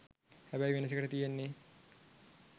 හැබැයි වෙනසකට තියෙන්නෙ